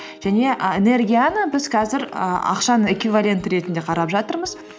және і энергияны біз қазір і ақшаның эквиваленті ретінде қарап жатырмыз